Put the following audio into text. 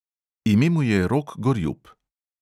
Ime mu je rok gorjup.